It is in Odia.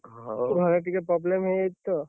ଘରେ ଟିକେ problem ହେଇଯାଇଛି, ତ।